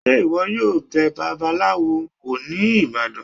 Se iwọ yọọ bẹ̀ bàbálawo wo ní ibadan?